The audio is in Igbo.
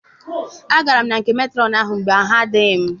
Agara m na nke metrọn anyị mgbe arụ adịghị m.